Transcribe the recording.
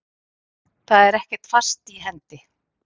Það er ekkert fast í hendi.